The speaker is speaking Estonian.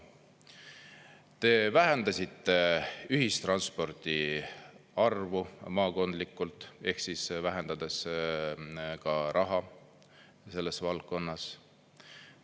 Te vähendasite ühistranspordi arvu maakondlikult, vähendades ka raha selles valdkonnas.